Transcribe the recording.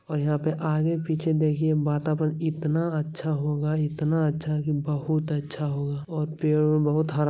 और यहाँ पे आगे पीछे देखिए वातावरण इतना अच्छा होगा इतना अच्छा कि बहुत अच्छा होगा और पेड़ ओड़ बहुत हरा --